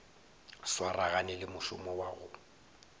swaragane le mošomo wa go